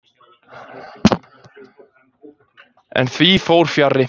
En því fór fjarri.